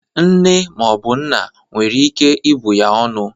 Nne ma ọ bụ nna mmadụ nwere ike ibụ ya ọnụ.